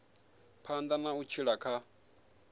phanḓa na u tshila kha